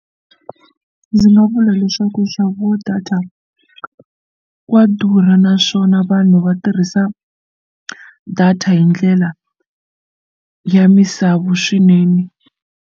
Ndzi nga vula leswaku nxavo wa data wa durha naswona vanhu va tirhisa data hi ndlela ya misavu swinene.